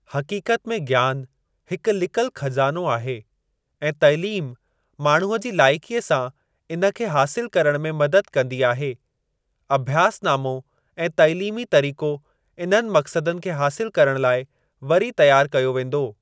हक़ीक़त में ज्ञान हिकु लिकल ख़ज़ानो आहे ऐं तइलीम माण्हूअ जी लाइकीअ सां इनखे हासिल करण में मदद कंदी आहे। अभ्यासनामो ऐं तइलीमी तरीक़ो इन्हनि मक़्सदनि खे हासिल करण लाइ वरी तयार कयो वेंदो।